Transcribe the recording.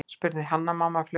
spurði Hanna-Mamma fljótmælt.